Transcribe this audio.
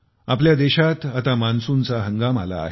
आपल्या देशात आता मान्सूनचा हंगाम आला आहे